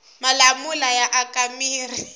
malamula ya aka mirhi